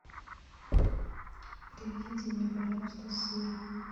привезите мне пожалуйста сыр